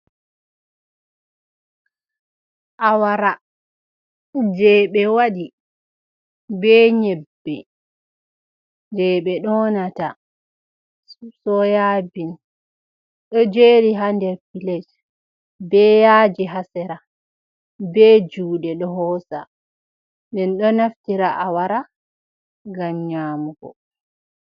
Awara je ɓe waɗi be nyebbe, je ɓe donata soya bins ɗo jeri ha nder pilat be yaji ha sera be juɗe ɗo hosa, men ɗo naftira a wara ngam nyamugo.